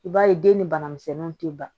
I b'a ye den ni banamisɛnninw ti ban